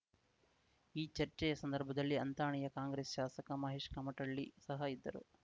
ಈ ಚರ್ಚೆಯ ಸಂದರ್ಭದಲ್ಲಿ ಅಂಥಣಿಯ ಕಾಂಗ್ರೆಸ್ ಶಾಸಕ ಮಹೇಶ್ ಕಮಟಳ್ಳಿ ಸಹ ಇದ್ದರು